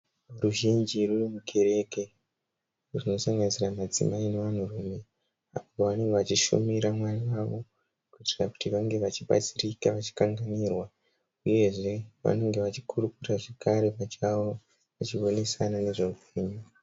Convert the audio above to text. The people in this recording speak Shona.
Ruzhinji ruri mukereke, rwunosanganisira madzimai nevanhurume pavanenge vachishumira mwari wavo kuitira kuti vange vachibatsirika vachikanganirwa, uyezve vanengwe vachikurukura zvakare pachavo vachionesana nezveupenyu.